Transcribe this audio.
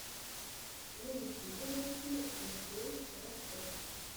на ютюбе найти эфкей ростов